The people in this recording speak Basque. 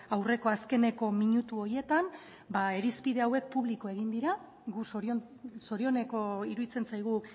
aurreko azkeneko minutu horietan irizpide horiek publiko egin dira gu zorioneko iruditzen zaigu